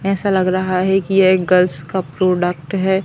ऐसा लग रहा है कि यह एक गर्ल्स का प्रोडक्ट है।